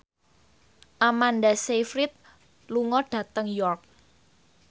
Amanda Sayfried lunga dhateng York